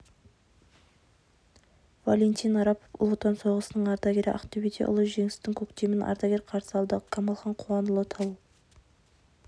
валентин арапов ұлы отан соғысының ардагері ақтөбеде ұлы жеңістің көктемін ардагер қарсы алды қамалхан қуанұлы тыл